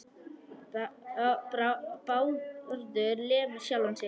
Bárður lemur sjálfan sig.